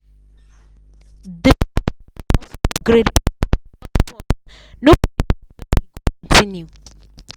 di family house upgrade plan don pause nobody know when e go continue.